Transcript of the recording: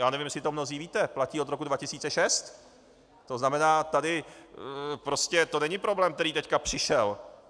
Já nevím, jestli to mnozí víte, platí od roku 2006, to znamená tady prostě to není problém, který teď přišel.